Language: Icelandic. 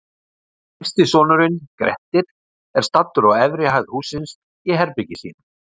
Yngsti sonurinn, Grettir, er staddur á efri hæð hússins, í herberginu sínu.